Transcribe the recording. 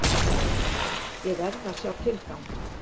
Ég verð að sjá tilgang!